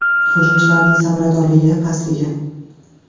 Hujumchilarning samaradorligi pastligi?